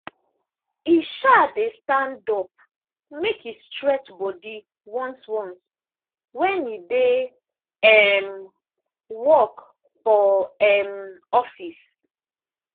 e um dey stand up make e stretch body once once when e dey um work for um office.